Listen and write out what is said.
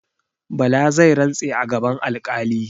Bala zai rantse a gaban alƙali.